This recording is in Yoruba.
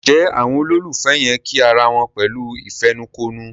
Njé Àwọn ololufẹ yén kí àrà wón pẹ̀lú ìfẹnukonu?